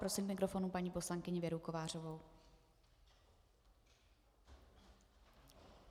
Prosím k mikrofonu paní poslankyni Věru Kovářovou.